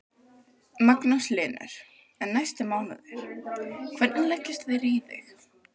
Magnús Hlynur: En næstu mánuðir, hvernig leggjast þeir í þig?